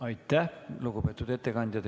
Aitäh, lugupeetud ettekandja!